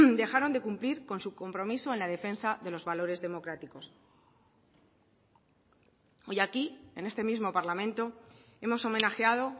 dejaron de cumplir con su compromiso en la defensa de los valores democráticos hoy aquí en este mismo parlamento hemos homenajeado